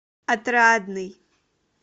отрадный